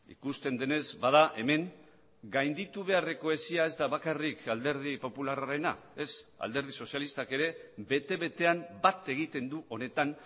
ikusten denez bada hemen gainditu beharreko hesia ez da bakarrik alderdi popularrarena ez alderdi sozialistak ere bete betean bat egiten du honetan